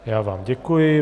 Já vám děkuji.